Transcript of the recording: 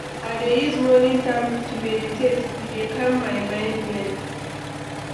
I dey use morning time to meditate, e dey calm my mind well.